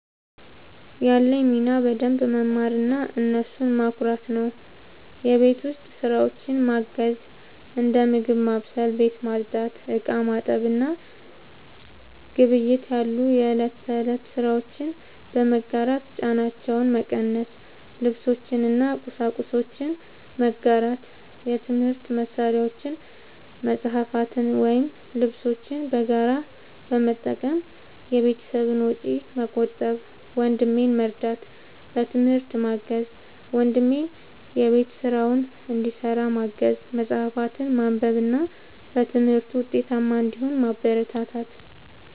ያለኝ ሚና በደንብ መማርና እነሱን ማኩራት ነው። የቤት ውስጥ ስራዎችን ማገዝ፦ እንደ ምግብ ማብሰል፣ ቤት ማጽዳት፣ ዕቃ ማጠብ እና ግብይት ያሉ የእለት ተእለት ስራዎችን በመጋራት ጫናቸውን መቀነስ። ልብሶችን እና ቁሳቁሶችን መጋራት፦ የትምህርት መሳሪያዎችን፣ መጽሐፍትን ወይም ልብሶችን በጋራ በመጠቀም የቤተሰብን ወጪ መቆጠብ። ወንድሜን መርዳት፦ በትምህርት ማገዝ፦ ወንድሜን የቤት ስራውን እንዲሰራ ማገዝ፣ መጽሐፍትን ማንበብ እና በትምህርቱ ውጤታማ እንዲሆን ማበረታታት።